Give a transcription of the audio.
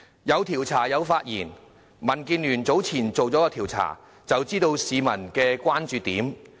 有調查，有發言，民建聯早前曾進行調查，知道市民的關注點。